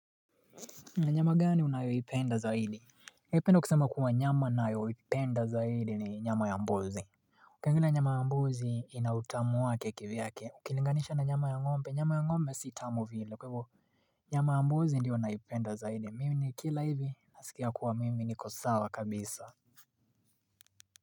Na nyama gani unayoipenda zaidi ningependa kusema kuwa nyama nayoipenda zaidi ni nyama ya mbuzi Ukiangalia nyama ya mbuzi inautamu wake kivyake ukilinganisha na nyama ya ngombe nyama ya ngombe sitamu vile kwahivyvo Nyama ya mbuzi ndio naipenda zaidi mimi ni kila hivi nasikia kuwa mimi niko sawa kabisa.